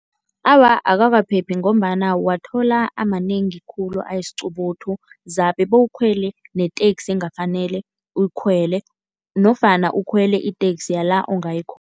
Awa, awakaphephi ngombana uwathola amanengi khulu ayisiqubuthu. Zabe bewukhwele neteksi engafanele uyikhwele nofana ukhwele iteksi yala ungayikhona.